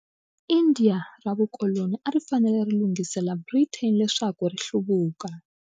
India ra vukoloni a ri fanele ri lunghiselela Britain leswaku ri hluvuka.